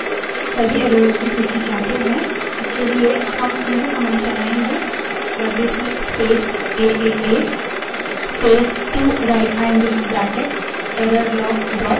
लेकिन क्या यदि हम सभी एररों की सूची चाहते हैं इसके लिए हम यह कमांड चलाएंगे WC space AAA space 2 right angled bracket error log dot TXT wc space aaa space 2 rightangled bracket twice errorlog txt